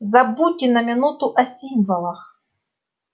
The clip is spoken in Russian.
забудьте на минуту о символах